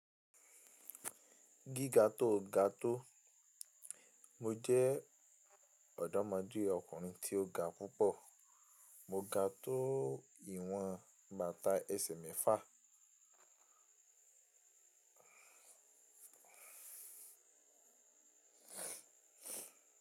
Gíga tó ga tó, mo jẹ́ ọ̀dọ́mọdé ọkùnrin tí ó ga púpọ̀. Mo ga tó ìwọ̀n bàtà ẹsẹ̀ mefà.